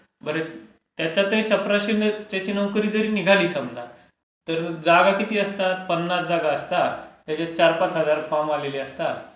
बरं, त्याच्यातही चपरशाची नोकरी जरी निघाली समजा तर जागा किती असतात? पन्नास जागा असतात त्याच्यात चार पाच हजार फॉर्म आलेले असतात.